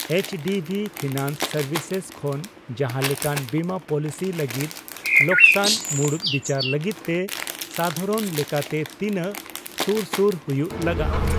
HDB Finance Services ᱠᱷᱚᱱ ᱡᱟᱦᱟᱸ ᱞᱮᱠᱟᱱ ᱵᱤᱢᱟᱹ ᱯᱚᱞᱤᱥᱤ ᱞᱟᱹᱜᱤᱫ ᱞᱚᱠᱥᱟᱱ ᱢᱩᱲᱩᱛ ᱵᱤᱪᱟᱹᱨ ᱞᱟᱹᱜᱤᱫ ᱛᱮ ᱥᱟᱫᱷᱟᱨᱚᱱ ᱞᱮᱠᱟᱛᱮ ᱛᱤᱱᱟᱹᱜ ᱥᱩᱨ ᱥᱩᱨ ᱦᱩᱭᱩᱜ ᱞᱟᱜᱟᱼᱟ ?